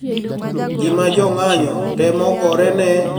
Gima jong`anyo temo gorene ema Beijing bende medo diyo gi e